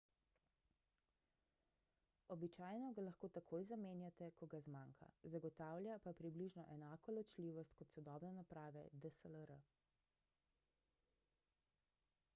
običajno ga lahko takoj zamenjate ko ga zmanjka zagotavlja pa približno enako ločljivost kot sodobne naprave dslr